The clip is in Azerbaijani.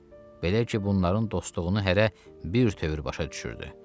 Belə ki, bunların dostluğunu hərə bir tövr başa düşürdü.